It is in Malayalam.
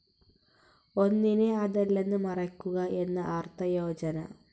ഒന്നിനെ അതല്ലെന്നു് മറയ്ക്കുക എന്നു് അർത്ഥയോജന.